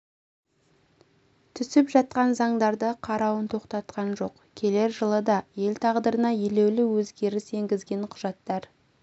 түсіп жатқан заңдарды қарауын тоқтатқан жоқ келер жылы да ел тағдырына елеулі өзгеріс енгізетін құжаттар